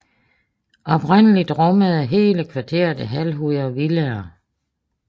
Oprindeligt rummede hele kvarteret et halvt hundrede villaer